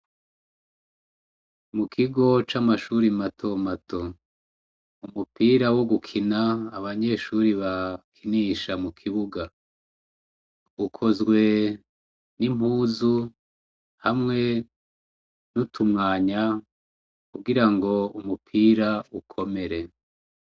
Mukigo c'amashuri matomato umupira wogukina abanyeshuri bakinisha mukibuga ukozwe n'impuzu hamwe n'utumwanya kugirango umupira ukomere.